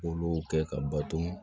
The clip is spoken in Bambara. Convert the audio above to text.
K'olu kɛ ka baton